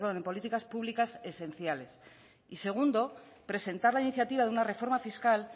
en políticas públicas esenciales y segundo presentaba iniciativa de una reforma fiscal